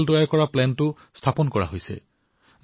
মই কৈছিলো যে আমি দেশবাসীসকলে স্থানীয় সামগ্ৰী ক্ৰয় কৰিব লাগে